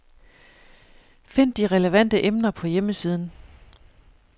Find de relevante emner på hjemmesiden.